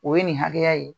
O ye nin hakɛya ye